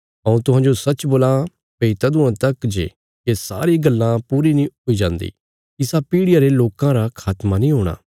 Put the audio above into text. हऊँ तुहांजो सच्च बोलां भई तदुआं तक जे ये सारी गल्लां पूरी नीं हुई जान्दी इसा पीढ़ियां रे लोकां रा खात्मा नीं हूणा